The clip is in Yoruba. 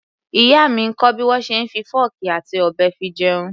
Ìyá mi ń kọ́ bí wọ́n ṣe ń lọ fọ́ọ̀kì àti ọ̀bẹ fi jẹun.